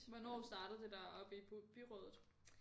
Hvornår startede det der oppe i byrådet